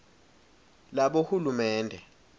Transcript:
labohulumende